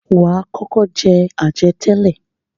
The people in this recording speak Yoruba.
Wà á kọ́kọ́ jẹ àjẹtẹ́lẹ̀.